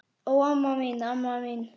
Ó, amma mín, amma mín!